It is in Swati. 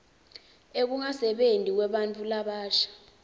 ekungasebenti kwebantfu labasha